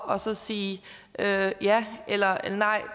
og så sige ja ja eller nej